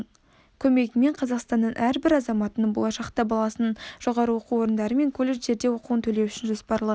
көмегімен қазақстанның әрбір азаматының болашақта баласының жоғары оқу орындары мен колледждерде оқуын төлеу үшін жоспарлы